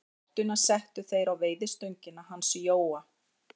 Rottuna settu þeir á veiðistöngina hans Jóa.